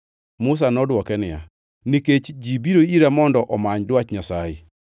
Musa nodwoke niya, “Nikech ji biro ira mondo omany dwach Nyasaye.”